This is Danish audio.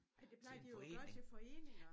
Men det plejer de jo at gøre til foreninger